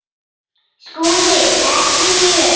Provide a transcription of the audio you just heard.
SKÚLI: Ekki mjög.